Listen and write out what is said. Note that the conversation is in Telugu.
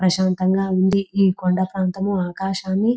ప్రశాంతంగా ఉంది ఈ కొండ ప్రాంతము ఆకాశాన్ని--